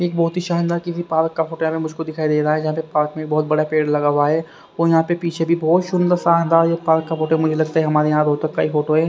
एक बहोत ही शानदार किसी पारक का फोटो यहां मे मुझको दिखाई दे रहा है यहां मे पार्क में बहोत बड़ा पेड़ लगा हुआ है और यहां पे पीछे भी बहोत सुंदर शानदार ये पार्क का फोटो मुझे लगता है हमारे यहां रोतक का एक फोटो है।